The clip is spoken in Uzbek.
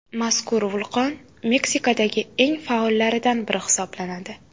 Mazkur vulqon Meksikadagi eng faollaridan biri hisoblanadi.